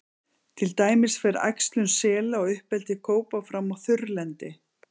Til dæmis fer æxlun sela og uppeldi kópa fram á þurrlendi.